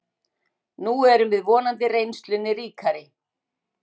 Nú erum við vonandi reynslunni ríkari